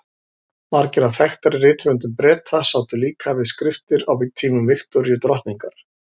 Margir af þekktari rithöfundum Breta sátu líka við skriftir á tímum Viktoríu drottningar.